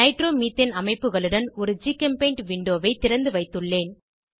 nitromethane அமைப்புகளுடன் ஒரு GChemPaint விண்டோவை திறந்துவைத்துள்ளேன்